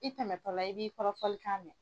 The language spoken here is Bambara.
I tɛmɛ tɔla i b'i kɔrɔfɔlikan mɛn.